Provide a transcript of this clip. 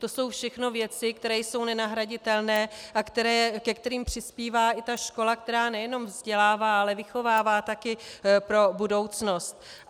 To jsou všechno věci, které jsou nenahraditelné a ke kterým přispívá i ta škola, která nejenom vzdělává, ale vychovává taky pro budoucnost.